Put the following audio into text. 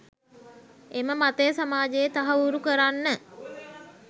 එම මතය සමාජයේ තහවුරු කරන්න